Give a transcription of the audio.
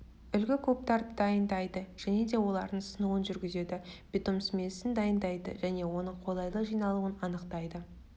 үлгі кубтарды дайындайды және де олардың сынуын жүргізеді бетон смесін дайындайды және оның қолайлы жиналуын анықтайды